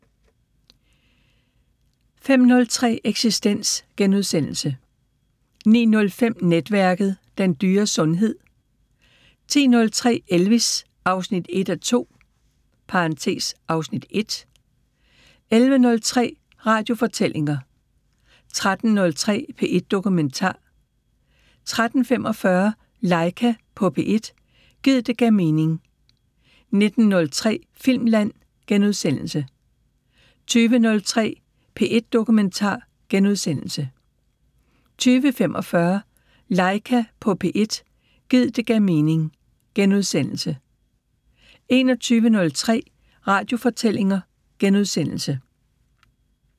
05:03: Eksistens * 09:05: Netværket: Den dyre sundhed 10:03: Elvis: 1:2 (Afs. 1) 11:03: Radiofortællinger 13:03: P1 Dokumentar 13:45: Laika på P1 – gid det gav mening 19:03: Filmland * 20:03: P1 Dokumentar * 20:45: Laika på P1 – gid det gav mening * 21:03: Radiofortællinger *